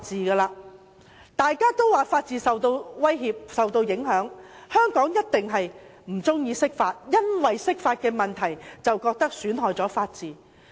很多人都說法治受到威脅和影響，香港人一定不喜歡釋法，因為釋法損害了法治。